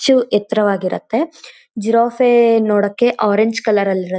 ಚ್ಚು ಎತ್ತರವಾಗಿ ಇರುತ್ತೆ ಜಿರಾಫೆ ನೋಡೋಕ್ಕೆ ಅರೇಂಜ್ ಕಲರ್ ನಾಲ್ ಇರತ್ತೆ.